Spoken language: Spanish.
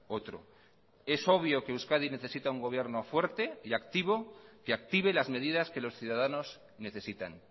otro es obvio que euskadi necesita un gobierno fuerte y activo que active las medidas que los ciudadanos necesitan